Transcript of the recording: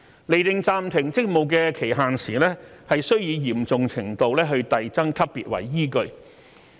釐定暫停職務的期限時須以嚴重程度遞增級別為依據。